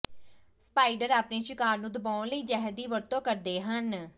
spider ਆਪਣੇ ਸ਼ਿਕਾਰ ਨੂੰ ਦਬਾਉਣ ਲਈ ਜ਼ਹਿਰ ਦੀ ਵਰਤੋਂ ਕਰਦੇ ਹਨ